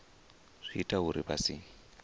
zwi ita uri vha si